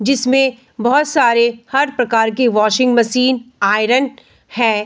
जिसमें बहुत सारे हर प्रकार के वाशिंग मशीन आयरन है।